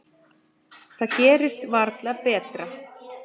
Það gerist varla betra.